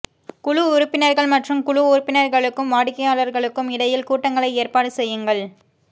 குழு உறுப்பினர்கள் மற்றும் குழு உறுப்பினர்களுக்கும் வாடிக்கையாளர்களுக்கும் இடையில் கூட்டங்களை ஏற்பாடு செய்யுங்கள்